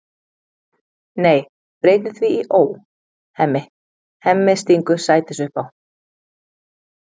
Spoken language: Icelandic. Nei, breytum því í Ó, Hemmi, Hemmi, stingur Sædís upp á.